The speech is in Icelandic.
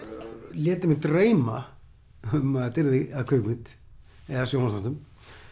lét ég mig dreyma um að þetta yrði að kvikmynd eða sjónvarpsþáttum